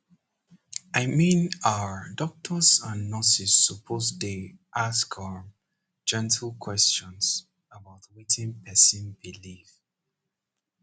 i mean ah doctors and nurses suppose dey ask um gentle questions about wetin person believe